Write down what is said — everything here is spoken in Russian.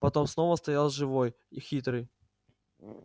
потом снова стоял живой и хитрый